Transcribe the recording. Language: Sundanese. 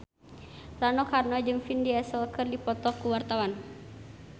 Rano Karno jeung Vin Diesel keur dipoto ku wartawan